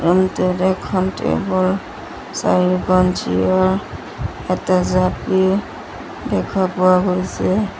এখন টেবুল চাৰিখন চ্চিয়াৰ এটা জাপি দেখা পোৱা গৈছে।